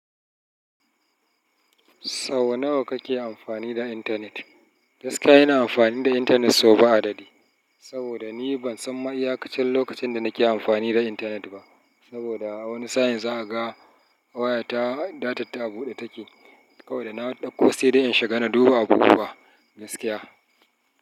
Sau nawa kake amfani da intanet? Gaskiya ina amfani da intanet sau ba adadi, saboda ni ban san ma iyakacin lokacin da nake amfani da intanet ba. Saboda wani sa'in zaka ga, wayata datar ta a buɗe take, kawai da na dauko sedai in shiga na duba abubuwa gaskiya.